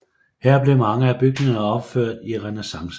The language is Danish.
Her blev mange af bygninger opført i renæssancestil